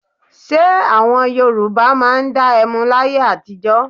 Ṣé àwọn Yorùbá máa dá ẹmu láyé àtijọ́?